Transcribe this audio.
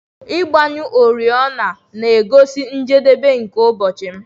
Ịgbanyụ oriọna na-egosi njedebe nke ụbọchị m.